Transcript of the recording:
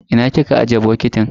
Ina kika ajiye bokitin?